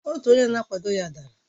otu onye na-akwado ya dara